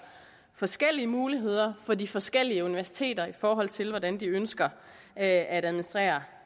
forskellige muligheder for de forskellige universiteter i forhold til hvordan de ønsker at at administrere